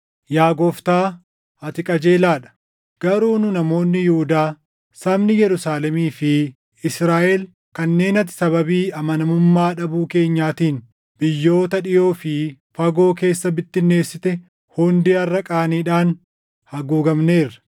“Yaa Gooftaa, ati qajeelaa dha; garuu nu namoonni Yihuudaa, sabni Yerusaalemii fi Israaʼel kanneen ati sababii amanamummaa dhabuu keenyaatiin biyyoota dhiʼoo fi fagoo keessa bittinneessite hundi harʼa qaaniidhaan haguugamneerra.